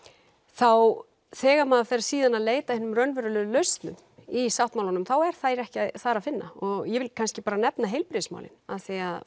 þá þegar maður fer síðan að leita að hinum raunverulegu lausnum í sáttmálanum þá er það ekki þar að finna og ég vil kannski bara nefna heilbrigðismálin því að